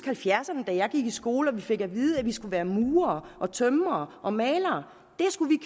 halvfjerdserne da jeg gik i skole og hvor vi fik at vide at vi skulle være murere og tømrere og malere det skulle